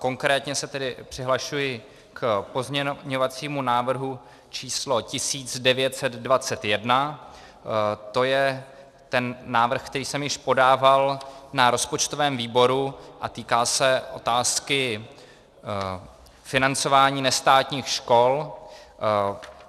Konkrétně se tedy přihlašuji k pozměňovacímu návrhu číslo 1921, to je ten návrh, který jsem již podával na rozpočtovém výboru a týká se otázky financování nestátních škol.